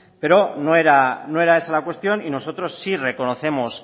pero no era esa la cuestión y nosotros sí reconocemos